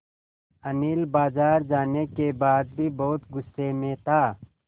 अनिल बाज़ार जाने के बाद भी बहुत गु़स्से में था